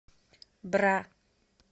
бра